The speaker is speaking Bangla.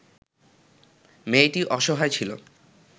মেয়েটি অসহায় ছিল